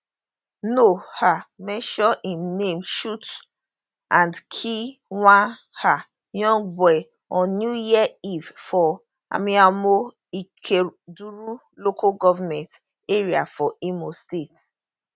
no um mention im name shoot and kill one um young boy on new year eve for amaimo ikeduru local goment area for imo state